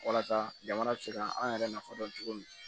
Walasa jamana bɛ se ka an yɛrɛ nafa dɔn cogo min na